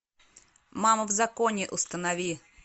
мама в законе установи